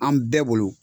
An bɛɛ bolo